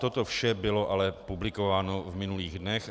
Toto vše bylo ale publikováno v minulých dnech.